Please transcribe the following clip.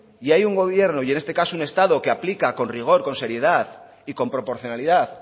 y hay un gobierno y en este caso un estado que aplica con rigor con seriedad y con proporcionalidad